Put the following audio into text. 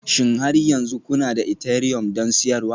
Shin har yanzu kuna da Ethereumi don siyarwa?